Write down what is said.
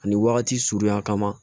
Ani wagati surunya kama